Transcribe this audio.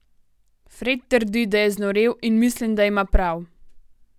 Fred trdi, da je znorel in mislim, da ima prav.